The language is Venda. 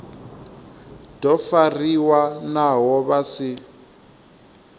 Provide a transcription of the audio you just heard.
do fariwa naho vha si